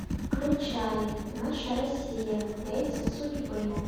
включай наша россия яйца судьбы